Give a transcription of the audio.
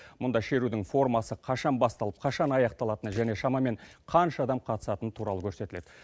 мұнда шерудің формасы қашан басталып қашан аяқталатыны және шамаман қанша адам қатысатыны туралы көрсетіледі